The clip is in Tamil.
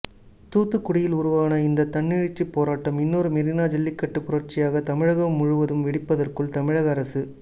தூத்துக்குடியில் உருவான இந்த தன்னெழுச்சிப் போராட்டம் இன்னொரு மெரினா ஜல்லிக்கட்டுப் புரட்சியாக தமிழகம் முழுவதும் வெடிப்பதற்குள் தமிழக அரசு